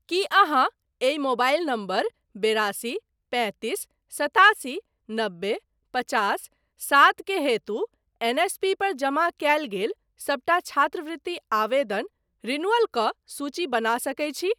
की अहाँ एहि mobile number बेरासी पैंतीस सतासी नबे पचास सात के हेतु एनएसपी पर जमा कयल गेल सबटा छात्रवृति आवेदन रिन्यूअल कऽ सूची बना सकैत छी?